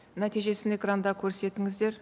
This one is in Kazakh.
нәтижесін экранда көрсетіңіздер